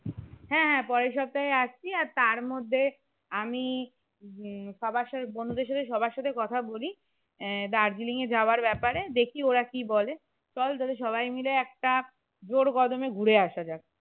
হ্যাঁ হ্যাঁ পরের সপ্তাহে আসছি আর তার মধ্যে আমি উম সবার সাথে বন্ধুদের সাথে সবার সাথে কথা বলি আহ দার্জিলিং এ যাবার ব্যাপারে দেখি ওরা কি বলে চল তাহলে সবাই মিলে একটা জোর কদমে ঘুরে আসা যাক